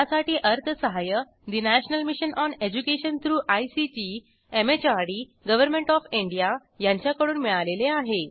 यासाठी अर्थसहाय्य national mission on education through ICT MHRD government of India यांच्याकडून मिळालेले आहे